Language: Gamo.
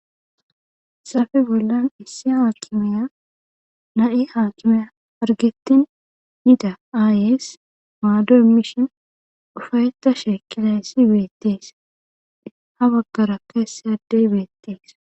Hayssappe bolan issi haakimiya na'i hargetin yida aayees maado imishe ufaytashe eqqidayssi beetees. ha bagara issi adde beetees.